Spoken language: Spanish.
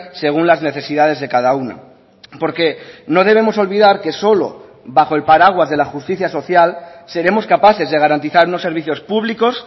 según las necesidades de cada una porque no debemos olvidar que solo bajo el paraguas de la justicia social seremos capaces de garantizar unos servicios públicos